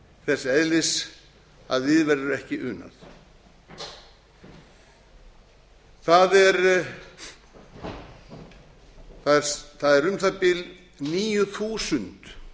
þess eðlis að við verður ekki unað það er um það bil níu þúsund